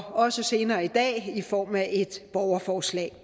også senere i dag i form af et borgerforslag